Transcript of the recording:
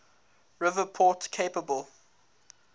river port capable